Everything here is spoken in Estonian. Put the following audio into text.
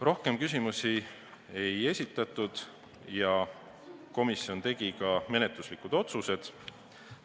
Rohkem küsimusi ei esitatud ja komisjon tegi menetluslikud otsused.